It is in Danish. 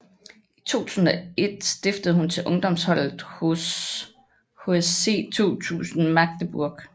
I 2001 skiftede hun til ungdomsholdet hos HSC 2000 Magdeburg